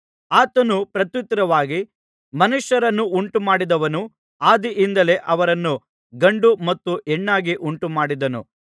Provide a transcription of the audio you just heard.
ಆತನು ಪ್ರತ್ಯುತ್ತರವಾಗಿ ಮನುಷ್ಯರನ್ನು ಉಂಟುಮಾಡಿದವನು ಆದಿಯಿಂದಲೇ ಅವರನ್ನು ಗಂಡು ಮತ್ತು ಹೆಣ್ಣಾಗಿ ಉಂಟುಮಾಡಿದನು